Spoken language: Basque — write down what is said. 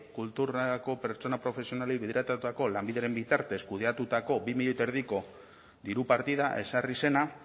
kulturako pertsona profesionalei bideratutako lanbidearen bitartez kudeatutako bi milioi eta erdiko diru partida ezarri zena